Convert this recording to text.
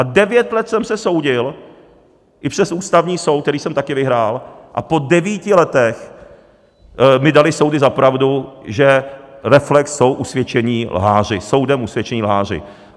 A devět let jsem se soudil i přes Ústavní soud, který jsem také vyhrál, a po devíti letech mi daly soudy za pravdu, že Reflex jsou usvědčení lháři, soudem usvědčení lháři.